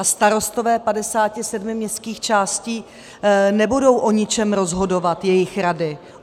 A starostové 57 městských částí nebudou o ničem rozhodovat, jejich rady.